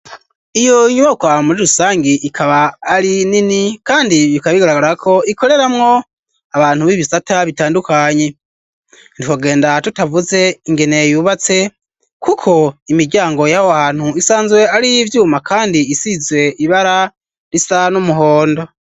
Iyo nyubokwa muri rusange ikaba ari nini kandi bikab igaragara ko ikoreramwo abantu b'ibisata bitandukanyi niwogenda tutavuze ingene yubatse kuko imiryango y'aho hantu isanzwe ari vyuma kandi isize ibara risa n'umuhondo.